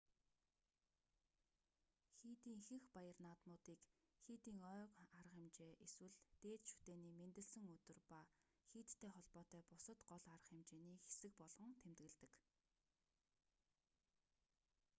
хийдийн ихэнх баяр наадмуудыг хийдийн ойн арга хэмжээ эсвэл дээд шүтээний мэндэлсэн өдөр ба хийдтэй холбоотой бусад гол арга хэмжээний хэсэг болгон тэмдэглэдэг